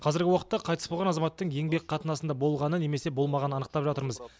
қазіргі уақытта қайтыс болған азаматтың еңбек қатынасында болғаны немесе болмағанын анықтап жатырмыз